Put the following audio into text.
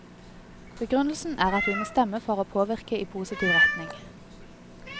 Begrunnelsen er at vi må stemme for for å påvirke i positiv retning.